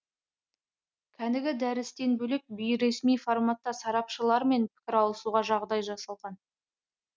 кәнігі дәрістен бөлек бейресми форматта сарапшылармен пікір алысуға жағдай жасалған